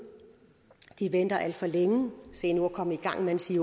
i venter alt for længe se nu at komme i gang mens i